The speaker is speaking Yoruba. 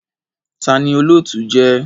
Tani olootu jẹ?